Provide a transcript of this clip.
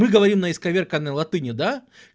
мы говорим на исковерканной латыни да